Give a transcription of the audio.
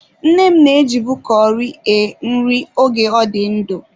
Nne m na-ejibu curry e nri oge ọ dị ndụ.